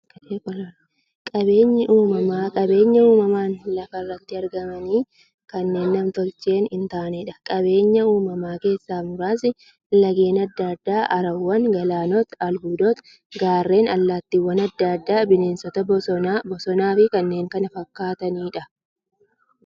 Qaabeenyi uumamaa qabeenya uumamaan lafa irratti argamanii, kan nam-tolchee hintaaneedha. Qabeenya uumamaa keessaa muraasni; laggeen adda addaa, haroowwan, galaanota, albuudota, gaarreen, allattiiwwan adda addaa, bineensota bosonaa, bosonafi kanneen kana fakkataniidha.